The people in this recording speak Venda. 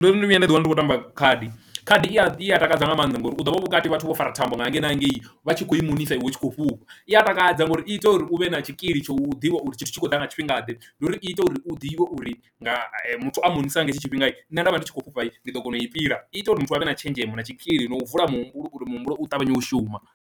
Ndo no vhuya nda ḓiwana ndi khou tamba khadi, khadi i a takadza nga maanḓa ngori u ḓo vha vhukati vhathu vho fara thambo nga hangei na hangei vha tshi kho i monisa iwe u tshi kho fhufha, i a takadza ngauri i ita uri u vhe na tshikili tsha u ḓivha uri tshithu tshi khou ḓa nga tshifhingaḓe ndi uri i ita uri u ḓivhe uri nga muthu a monisa nga hetsho tshifhinga nṋe nda vha ndi khou fhufha ndi ḓo kona u i fhira i ita uri muthu avhe na tshenzhemo na tshikili na u vula muhumbulo uri muhumbulo u ṱavhanye u shuma.